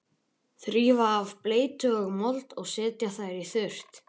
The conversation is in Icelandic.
Þrífa af bleytu og mold og setja þær í þurrt.